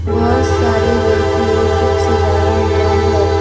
बहुत सारे रैक में बुक सजाया हुआ है।